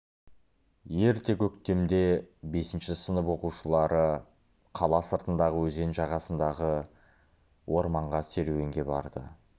ерте көктемде бесінші сынып оқушылары қала сыртындағы өзен жағасындағы орманға серуенге барды